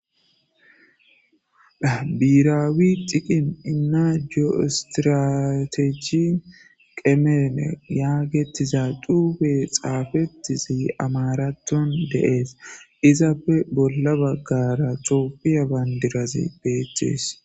Biiraawi xiqin innaa geoistratechi qemeene yaagettiza duufe xaafetizi amaratton deees izappe bolla baggara toopiya bayndirazi beeththees.